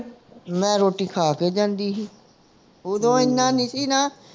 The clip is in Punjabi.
ਮੈਂ ਰੋਟੀ ਖਾ ਕੇ ਜਾਂਦੀ ਸੀ ਓਦੋਂ ਇੰਨਾ ਨਹੀਂ ਸੀ ਨਾ